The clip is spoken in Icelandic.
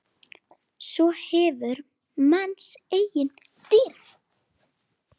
Svo hverfur manns eigin dýrð.